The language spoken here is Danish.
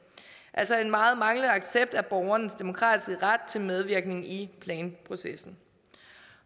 altså en meget manglende accept af borgernes demokratiske ret til medvirken i planprocessen